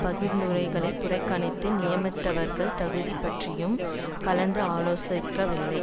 பரிந்துரைகளை புறக்கணித்து நியமித்தவர்கள் தகுதி பற்றியும் செளதரியுடன் கலந்து ஆலோசிக்கவில்லை